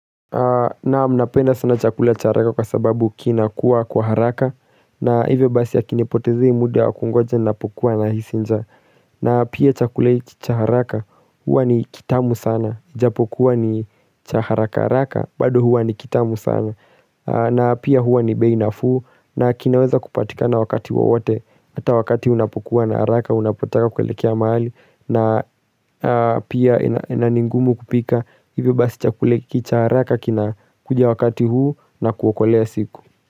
Naam napenda sana chakula cha haraka kwa sababu kina kuwa kwa haraka na hivyo basi hakinipotezei muda kungoja napokua nahisi nja na pia chakula hiki cha haraka huwa ni kitamu sana japokuwa ni cha haraka haraka bado huwa ni kitamu sana na pia huwa ni bei nafuu na kinaweza kupatikana wakati wowote ata wakati unapokua na haraka unapotaka kuelekea maali na pia ina ningumu kupika ivyo basi chakula hiki cha haraka kina kuja wakati huu na kuwakolea siku.